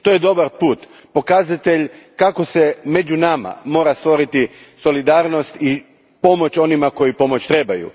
To je dobar put, pokazatelj kako se među nama mora stvoriti solidarnost i pomoć onima koji pomoć trebaju.